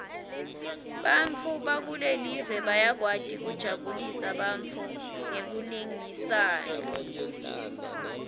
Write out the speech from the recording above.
bantfu bakulelive bayakwati kujabulisa bantfu ngekulingisana